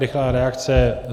Rychlá reakce.